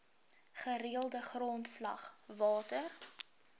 gereelde grondslag water